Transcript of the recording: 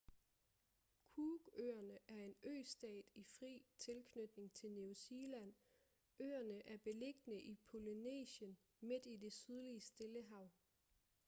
cook-øerne er en østat i fri tilknytning til new zealand øerne er beliggende i polynesien midt i det sydlige stillehav